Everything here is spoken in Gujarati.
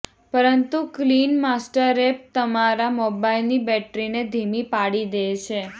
પરંતુ ક્લીન માસ્ટર એપ તમારા મોબાઇલની બેટરીને ધીમી પાડી દે છે